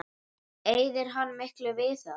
Eyðir hann miklu við það?